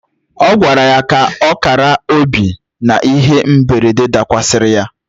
Ọ gwara ya ka ọ kara obi n'ihe mberede dakwasịrị ya.